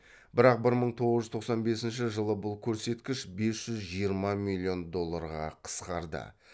бірақ бір мың тоғыз жүз тоқсан бесінші жылы бұл көрсеткіш бес жүз жиырма миллион долларға қысқарды